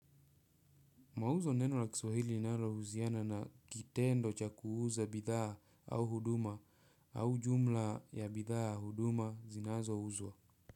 Mauzo neno la Kiswahili linalohusiana na kitendo cha kuuza bidhaa au huduma au jumla ya bidhaa, huduma zinazouzwa.